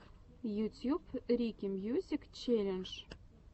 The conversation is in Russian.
ютьюб рики мьюзик челлендж